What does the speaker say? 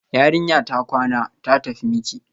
Yarinya ta kwana, ta tafi miki